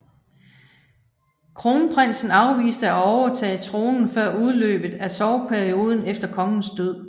Kronprinsen afviste at overtage tronen før udløbet af sorgperioden efter kongens død